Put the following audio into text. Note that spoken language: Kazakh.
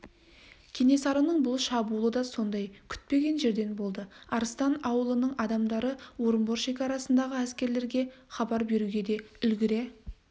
кенесарының бұл шабуылы да сондай күтпеген жерден болды арыстан аулының адамдары орынбор шекарасындағы әскерлерге хабар беруге де үлгіре